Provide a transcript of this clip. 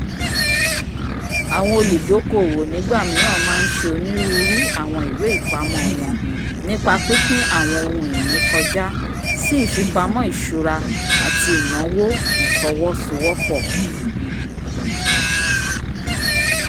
awọn oludokoowo nigbamiran ma nṣe oniruuru awọn iwe-ipamọ wọn nipa pipin awọn ohun-ini kọjá sí ifipamo ìṣura ati inawo-ifowosowopo